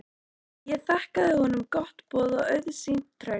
Ég þakkaði honum gott boð og auðsýnt traust.